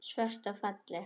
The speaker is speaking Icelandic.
Svört og falleg.